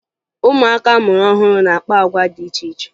Ụmụaka a mụrụ ọhụrụ na-akpa agwa dị iche iche